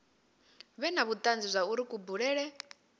vhe na vhutanzi zwauri kubulele